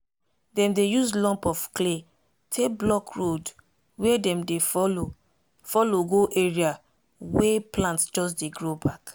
dem dey use lump of clay take block road wey dem dey follow follow go area wey plant just dey grow back.